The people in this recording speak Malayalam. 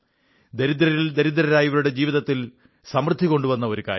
ദരിദ്രരിൽ ദരിദ്രരായവരുടെ ജീവിതത്തിൽ സമൃദ്ധി കൊണ്ടുവരുന്ന ഒരു കാര്യം